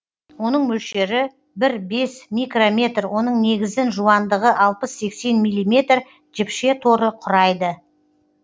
оның мөлшері бір бес микрометр оның негізін жуандығы алпыс сегіз милиметр жіпше торы құрайды